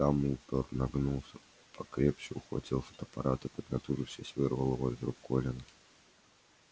дамблдор нагнулся покрепче ухватил фотоаппарат и поднатужившись вырвал его из рук колина